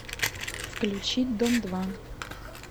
включить дом два